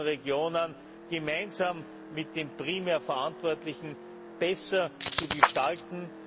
Regionen gemeinsam mit dem primär Verantwortlichen besser zu gestalten.